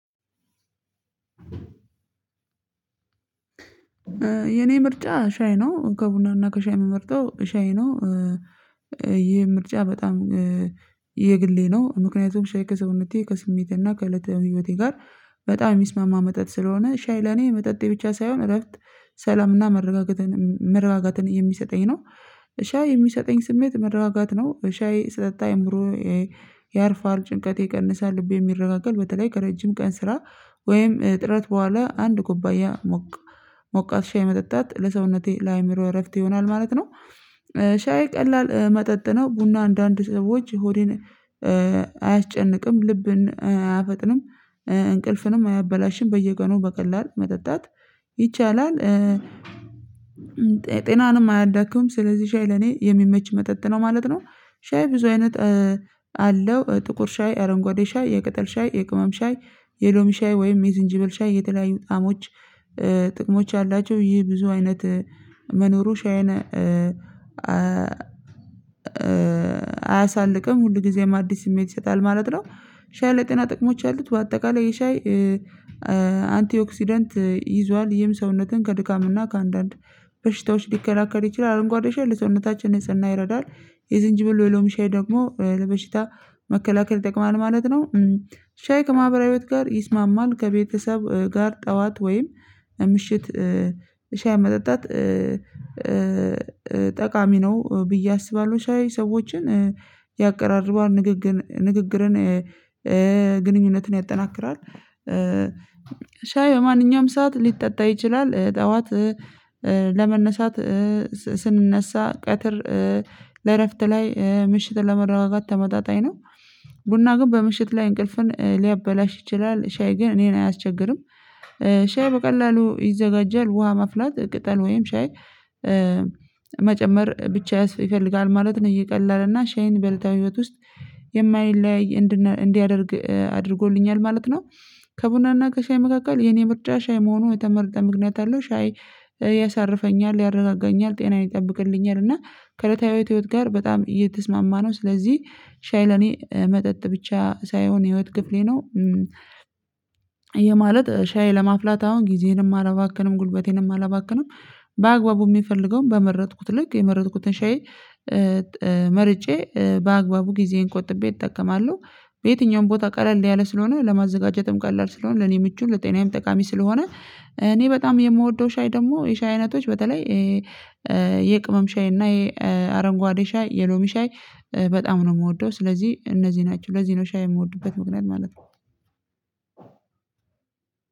የኔ ምርጫ ሻይ ነው ከቡናና ከሻይ የምመርጠው ሻይ ነው። ይሄ ምርጫ በጣም የግሌ ነው። ምክንያቱም ሻይ ከሰውነቴ ከስሜቴና ከእለተ እለት ህይወቴ ጋር በጣም የሚስማማ መጠጥ ስለሆነ ሻይ ለኔ መጠጤ ብቻ ሳይሆን እረፍት ሰላምና መረጋጋትን የሚሰጠኝ ነው። ሻይ የሚሰጠኝ ስሜት መረጋጋት ነው። ሻይ ስጠጣ አይምሮ ያርፋል ጭንቀት ይቀንሳል ልቤ ይረጋጋል። በተለይ ከረጅም ቀን ስራ ወይም ጥረት በኋላ አንድ ኩባያ ሞቃት ሻይ መጠጣት ለሰውነቴ ለአእምሮዬ እረፍት ይሆናል ማለት ነው። ሻይ ቀላል መጠጥ ነው። ቡና አንዳንድ ሰዎች ሆዴን አያስጨንቅም ልብን አያፈጥንም እንቅልፍንም አያበላሽም በየቀኑ በቀላሉ መጠጣት ይቻላል። ጤናንም አያዳክም። ስለዚህ ሻይ ለኔ የሚመች መጠጥ ነው ማለት ነው። ሻይ ብዙ አይነት አለው። ጥቁር ሻይ አረንጓዴ ሻይ የቅጠል ሻይ የቅመም ሻይ የሎሚ ሻይ ወይም የዝንጅብል ሻይ የተለያዩ ጣሞች ጥቅሞች አላቸው። ይህ ብዙ አይነት መኖሩ ሻይን አያሳልቅም ሁል ጊዜም አዲስ ስሜት ይሰጣል ማለት ነው። ሻይ ለጤና ጥቅሞች አሉት በአጠቃላይ የሻይ አንቲኦክሲደንት ይዟል ይህም ሰውነትን ከድካምና ከአንዳንድ በሽታዎች ሊከላከል ይችላል። አረንጓዴ ሻይ ለሰውነታችን ንጽህና ይረዳል። የዝንጅብል የሎሚ ሻይ ደግሞ ለበሽታ መከላከል ይጠቅማል ማለት ነው። ሻይ ከማህበራዊ ህይወት ጋር ይስማማል ከቤተሰብ ጋር ጠዋት ወይም ምሽት ሻይ መጠጣት ጠቃሚ ነው ብዬ አስባለሁ። ሻይ ሰዎችን ያቀራርባል። ንግግርን ግንኙነትን ያጠናክራል። ሻይ የማንኛውም ሰዓት ሊጠጣ ይችላል። ጠዋት ለመነሳት ስንነሳ ቀትር ለእረፍት ላይ ምሽት ለመረጋጋት ተመጣጣኝ ነው። ቡና ግን በምሽት ላይ እንቅልፍን ሊያበላሽ ይችላል። ሻይ ግን እኔን አያስቸግርም። ሻይ በቀላሉ ይዘጋጃል ውሃ መፍላት ቅጠል ወይም ሻይ መጨመር ብቻ ያስፈልጋል ማለት ነው። እየቀለለ እና ሻይን በእለት ተለት ህይወት ውስጥ የማይለያይ እንዲያደርግ አድርጎልኛል ማለት ነው። ከቡናና ከሻይ መካከል የኔ ምርጫ ሻይ መሆኑን የተመረጠ ምክንያት አለው። ሻይ ያሳርፈኛል ያረጋገኛል ጤናን ይጠብቅልኛል እና ከለታዊ ህይወት ጋር በጣም እየተስማማ ነው። ስለዚህ ሻይ ለኔ መጠጥ ብቻ ሳይሆን የህይወት ክፍሌ ነው። የማለት ሻይ ለማፍላት አሁን ጊዜንም አላባክንም ጉልበቴንም አላባክንም። በአግባቡ የሚፈልገውን በመረጥኩት ልክ የመረጥኩትን ሻይ መርጬ በአግባቡ ጊዜን እንቆጥቤ እጠቀማለሁ። በየትኛውም ቦታ ቀለል ያለ ስለሆነ ለማዘጋጀትም ቀለል ስለሆነ ለኔ ምቹ ለጤናዬም ጠቃሚ ስለሆነ። እኔ በጣም የምወደው ሻይ ደግሞ የሻይ አይነቶች በተለይ የቅመም ሻይ እና የአረንጓዴ ሻይ የሎሚ ሻይ በጣም ነው የምወደው። ስለዚህ እነዚህ ናቸው ለዚህ ነው ሻይ የምወድበት ምክንያት ማለት ነው።